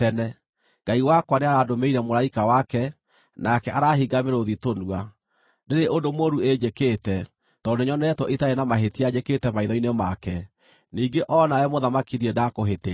Ngai wakwa nĩarandũmĩire mũraika wake, nake arahinga mĩrũũthi tũnua. Ndĩrĩ ũndũ mũũru ĩnjĩkĩte, tondũ nĩnyonetwo itarĩ na mahĩtia njĩkĩte maitho-inĩ make. Ningĩ o na wee mũthamaki ndirĩ ndaakũhĩtĩria.”